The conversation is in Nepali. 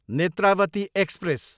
नेत्रावती एक्सप्रेस